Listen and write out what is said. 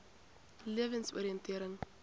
lewensoriëntering